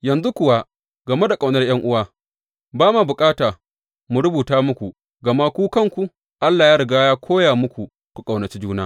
Yanzu kuwa game da ƙaunar ’yan’uwa, ba ma bukata mu rubuta muku, gama ku kanku Allah ya riga ya koya muku ku ƙaunaci juna.